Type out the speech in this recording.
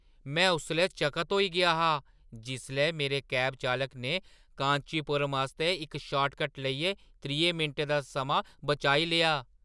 में उसलै चकत होई गेआ हा जिसलै मेरे कैब चालक ने कांचीपुरम आस्तै इक शार्टकट लेइयै त्रीहें मिंटें दा समां बचाई लेआ !